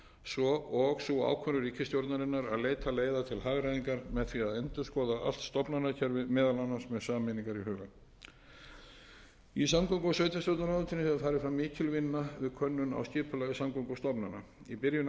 svo og sú ákvörðun ríkisstjórnarinnar að leiða til hagræðingar með því að endurskoða allt stofnanakerfið meðal annars með sameiningar í huga í samgöngu og sveitarstjórnarráðuneytinu hefur farið fram mikil vinna við könnun á skipulagi samgöngustofnana í byrjun